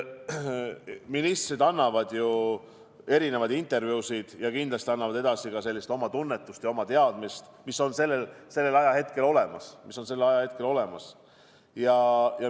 Ministrid annavad ju erinevaid intervjuusid ja kindlasti annavad edasi oma tunnetust ja oma teadmist, mis on sellel ajahetkel olemas.